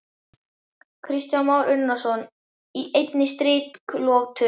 Kristján Már Unnarsson: Í einni striklotu?